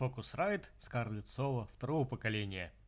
фокусрайт скарлетт соло второго поколения